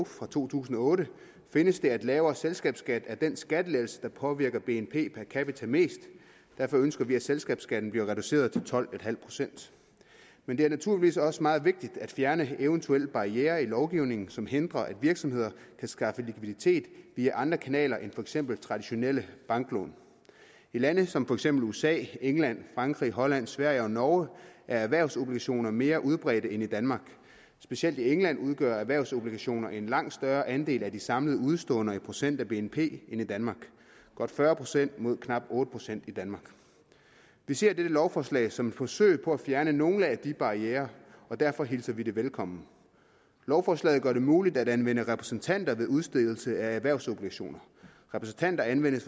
fra to tusind og otte findes det at lavere selskabsskat er den skattelettelse der påvirker bnp per capita mest derfor ønsker vi at selskabsskatten bliver reduceret til tolv procent men det er naturligvis også meget vigtigt at fjerne eventuelle barrierer i lovgivningen som hindrer at virksomheder kan skaffe likviditet via andre kanaler end for eksempel traditionelle banklån i lande som for eksempel usa england frankrig holland sverige og norge er erhvervsobligationer mere udbredte end i danmark specielt i england udgør erhvervsobligationer en langt større andel af de samlede udeståender i procent af bnp end i danmark godt fyrre procent mod knap otte procent i danmark vi ser dette lovforslag som et forsøg på at fjerne nogle af de barrierer og derfor hilser vi det velkommen lovforslaget gør det muligt at anvende repræsentanter ved udstedelse af erhvervsobligationer repræsentanter anvendes